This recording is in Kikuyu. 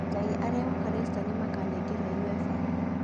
Njagi arĩhoka reista nimakaganererwo UEFA